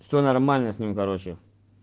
всё нормально с ним короче